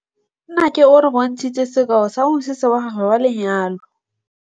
Nnake o re bontshitse sekaô sa mosese wa gagwe wa lenyalo.